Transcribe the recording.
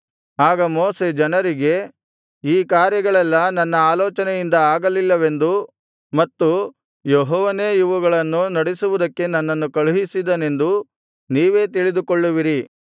ಆಗ ಮೋಶೆ ಜನರಿಗೆ ಈ ಕಾರ್ಯಗಳೆಲ್ಲಾ ನನ್ನ ಆಲೋಚನೆಯಿಂದ ಆಗಲಿಲ್ಲವೆಂದೂ ಮತ್ತು ಯೆಹೋವನೇ ಇವುಗಳನ್ನು ನಡಿಸುವುದಕ್ಕೆ ನನ್ನನ್ನು ಕಳುಹಿಸಿದನೆಂದೂ ನೀವೇ ತಿಳಿದುಕೊಳ್ಳುವಿರಿ